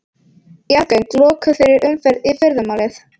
Jarðgöng lokuð fyrir umferð í fyrramálið